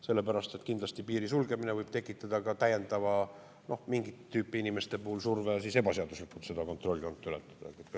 Sellepärast et kindlasti piiri sulgemine võib tekitada mingit tüüpi inimeste puhul täiendava surve ebaseaduslikult seda kontrolljoont ületada.